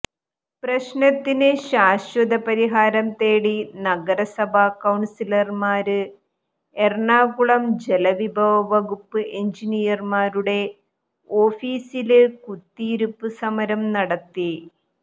പ്രശ്നത്തിന് ശാശ്വത പരിഹാരം തേടി നഗരസഭാ കൌണ്സിലര്മാര് എറണാകുളം ജലവിഭവ വകുപ്പ് എഞ്ചിനീയര്മാരുടെ ഓഫീസി കുത്തിയിരിപ്പ് സമരം നടത്തി